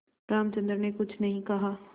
रामचंद्र ने कुछ नहीं कहा